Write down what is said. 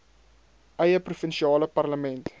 eie provinsiale parlement